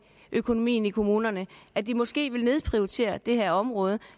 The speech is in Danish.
økonomien i kommunerne at de måske vil nedprioritere det her område